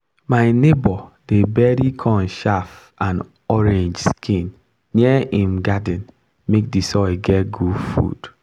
my neighbour dey bury corn chaff and orange skin near him garden make the soil get food.